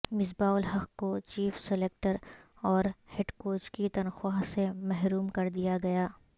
مصباح الحق کو chief selector اور head coach کی تنخواہ سے محروم کردیا گیا